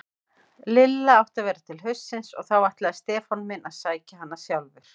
Lilla átti að vera til haustsins og þá ætlaði Stefán minn að sækja hana sjálfur.